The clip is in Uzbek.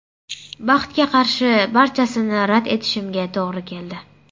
Baxtga qarshi barchasini rad etishimga to‘g‘ri keldi.